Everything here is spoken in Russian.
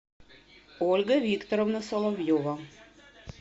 ольга викторовна соловьева